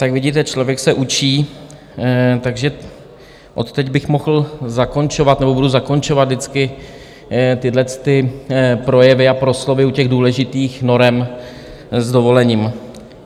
Tak vidíte, člověk se učí, takže od teď bych mohl zakončovat nebo budu zakončovat vždycky tyhle projevy a proslovy u těch důležitých norem, s dovolením.